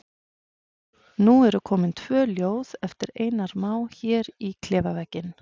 Nú eru komin tvö ljóð eftir Einar Má hér á klefavegginn.